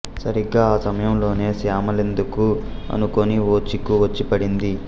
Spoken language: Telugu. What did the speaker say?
సరిగ్గా ఆ సమయంలోనే శ్యామలేందుకు అనుకోని ఓ చిక్కు వచ్చి పడింది